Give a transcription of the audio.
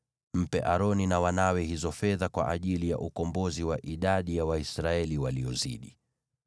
Mpe Aroni na wanawe hizo fedha kwa ajili ya ukombozi wa idadi ya Waisraeli waliozidi.”